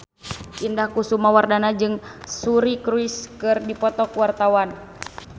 Indah Wisnuwardana jeung Suri Cruise keur dipoto ku wartawan